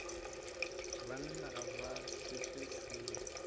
banna ga ba šetše seo